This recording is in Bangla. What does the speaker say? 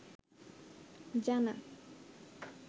জানা